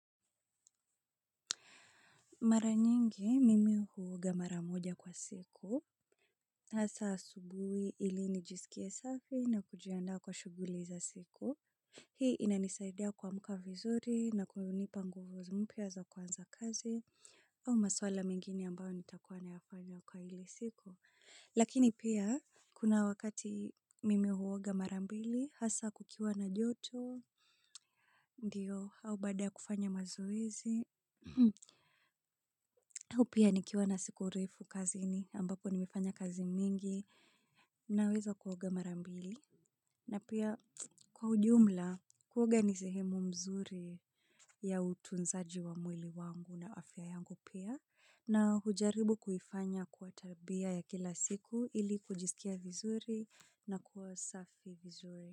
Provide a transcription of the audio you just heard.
Mara nyingi, mimi huoga mara moja kwa siku. Hasa asubui ili nijisikie safi na kujiandaa kwa shuguli za siko. Hii inanisaidia kwa muka vizuri na kwa unipa nguvu mpya za kuanza kazi au maswala mengine ambao nitakuwa n yafanya kwa ile siku. Lakini pia, kuna wakati mimi huoga mara mbili, hasa kukiwa na joto. Ndiyo, au baada ya kufanya mazoezi. Upya nikiwa na siku urefu kazini ambapo nimefanya kazi mingi naweza kuoga mara mbili. Na pia kwa ujumla kuoga ni sehemu mzuri ya utunzaji wa mwili wangu na afya yangu pia. Na hujaribu kuifanya kwa tabia ya kila siku ili kujisikia vizuri na kuwa safi vizuri.